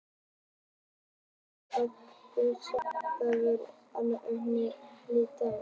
Auk þess er algengt að steikja laufblöðin á pönnu ásamt ungum ferskum stilkum.